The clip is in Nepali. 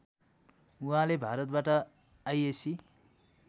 उहाँले भारतबाट आइएस्सी